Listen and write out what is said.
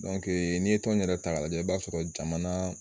Dɔnkee n'i ye tɔn in yɛrɛ taga lajɛ i b'a sɔrɔ jamanaa